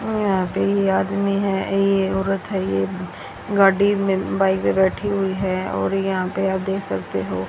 यहां पे ये आदमी है ये औरत है ये गाड़ी में बाइक पर बैठी हुई है और यहां पे आप देख सकते हो--